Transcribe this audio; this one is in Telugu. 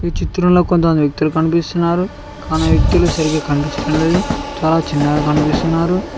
చిత్రంలో కొంత వ్యక్తులు కనిపిస్తున్నారు కానీ ఆ వ్యక్తులు సరిగా కనిపించటం లేదు చాలా చిన్నగా కనిపిస్తున్నారు.